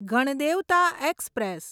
Ganadevata express